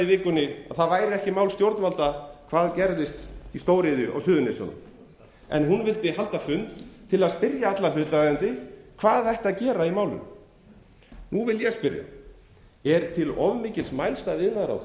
vikunni að það væri ekki mál stjórnvalda hvað gerðist í stóriðju á suðurnesjunum en hún vildi halda fund til að spyrja alla hlutaðeigendur hvað ætti að gera í málinu nú vil ég spyrja er til of mikils mælst af